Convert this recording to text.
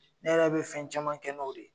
Ne yɛrɛ be fɛn caman kɛ n'o de ye